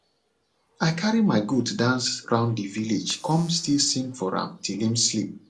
i carry my goat dance round the village come still sing for am till him sleep